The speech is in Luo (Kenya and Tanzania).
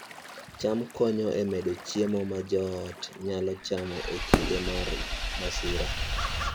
cham konyo e medo chiemo ma joot nyalo chamo e kinde mag masira